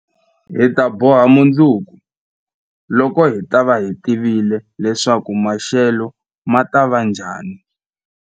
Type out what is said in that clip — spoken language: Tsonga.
Hi ta boha mundzuku, loko hi ta va hi tivile leswaku maxelo ma ta va njhani.